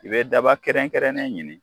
I bɛ daba kɛrɛnkɛrɛnnen ɲini